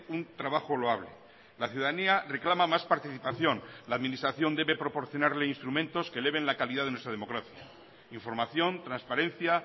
un trabajo loable la ciudadanía reclama más participación la administración debe proporcionarle instrumentos que eleven la calidad de nuestra democracia información transparencia